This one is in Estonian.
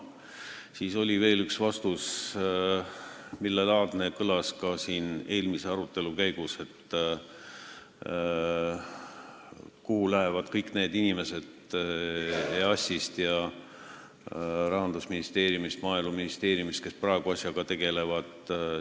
Siis oli veel üks küsimus, millelaadne kõlas ka siin arutelu käigus, et kuhu lähevad kõik need inimesed EAS-ist, Rahandusministeeriumist ja Maaeluministeeriumist, kes praegu asjaga tegelevad.